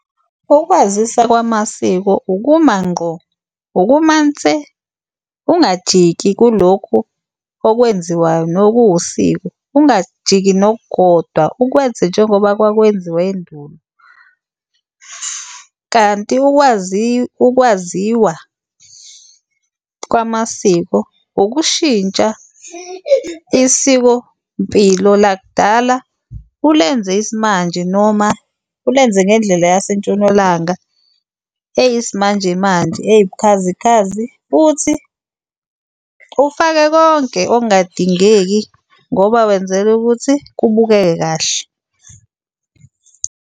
Ukwazisa kwamasiko ukuma ngqo, ukuma nse ungajiki kulokhu okwenziwayo nokuwusiko, ungajiki nokukodwa ukwenze njengoba kwakwenziwa endulo. Kanti , ukwaziwa kwamasiko ukushintsha isikompilo lakudala ulenze isimanje noma ulenze ngendlela yaseNtshonalanga eyisimanjemanje, eyiwubukhazikhazi. Futhi ufake konke okungadingeki ngoba wenzela ukuthi kubukeke kahle.